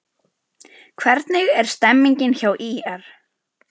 Hvernig er stemningin hjá ÍR?